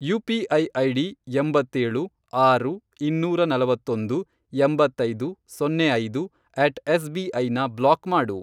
UPI. ID, ಎಂಬತ್ತೇಳು, ಆರು, ಇನ್ನೂರ ನಲವತ್ತೊಂದು, ಎಂಬತ್ತೈದು, ಸೊನ್ನೆ ಐದು, ಅಟ್ ಎಸ್.ಬಿ.ಐ ನ ಬ್ಲಾಕ್ ಮಾಡು